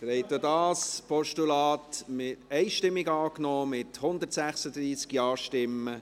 Sie haben auch dieses Postulat einstimmig angenommen, mit 136 Ja-Stimmen.